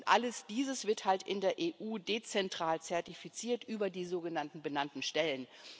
Und all dies wird halt in der EU dezentral zertifiziert über die sogenannten benannten Stellen.